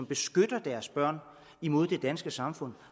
beskytter deres børn imod det danske samfund